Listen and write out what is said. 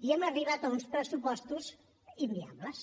i hem arribat a uns pressupostos inviables